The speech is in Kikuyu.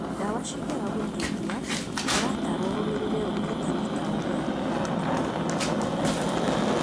Ndawa cingĩaga gũteithia, ũrataarwo ningĩ ũrũmĩrĩre ũrigitani ta ũrĩa ũtaaro.